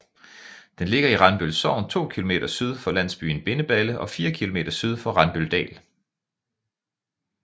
Den ligger i Randbøl Sogn 2 km syd for landsbyen Bindeballe og 4 km syd for Randbøldal